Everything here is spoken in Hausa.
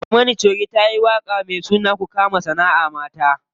Barmana choge tayi waƙa me suna ku kama sanaʼa mata.